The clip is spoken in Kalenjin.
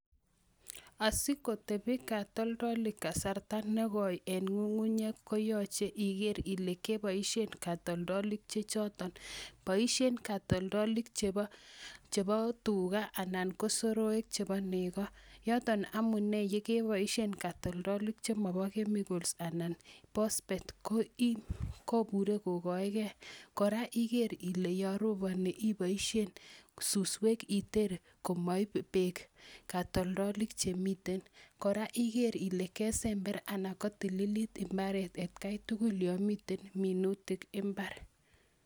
Asikotepi katoltolik kasarta nekoe en ngungunyek koyoche iker Ile keboishen katoldolik che choton, boishen katoldolik chebo tugaa anan kosoroik chebo neko, yoton amunee yekeboishen katoldolik chemobo chemicals anan phospet ko iih kobure kokoe gee Koraa iker Ile yon roponi iboishen suswek iter komoib beek katoldolik chemiten. Koraa iker Ile kesember anan kotililit imbaret atgai tukul yomiten minutik imbar.